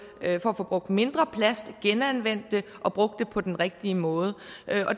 at få brugt mindre plast genanvendt det og brugt det på den rigtige måde